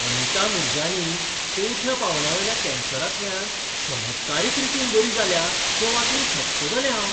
अनिता मूरजानी चवथ्या पांवड्यावेल्या कॅन्सरांतल्यान चमत्कारीक रितीन बरी जाल्या तें वाचून थक्क जालें हांव.